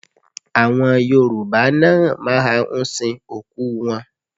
Àwọn Yorùbá náà máa ń sin òkú wọn